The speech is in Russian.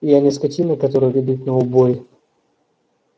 я не скотина которую ведут на убой